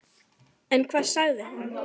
En hvað sagði hann?